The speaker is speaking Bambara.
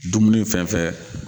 Dumuni fɛn fɛn